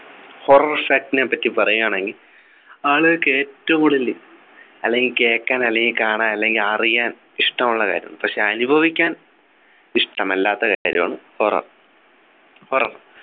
horror shack നേപ്പറ്റി പറയാണെങ്ങി ആളുകൾക്ക് ഏറ്റവും കൂടുതൽ അല്ലെങ്കിൽ കേക്കാൻ അല്ലെങ്കി കാണാൻ അല്ലെങ്കി അറിയാൻ ഇഷ്ടമുള്ള കാര്യം പക്ഷെ അനുഭവിക്കാൻ ഇഷ്ടമല്ലാത്ത കാര്യമാണ് horror horror